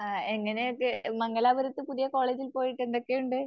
ആ എങ്ങനെയൊക്കെ മംഗലാപുരത്ത് പുതിയ കോളേജിൽ പോയിട്ട് എന്തൊക്കെയുണ്ട്